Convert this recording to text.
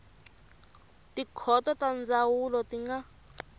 tikhoto ta ndzhavuko ti nga